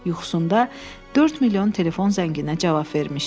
Yuxusunda 4 milyon telefon zənginə cavab vermişdi.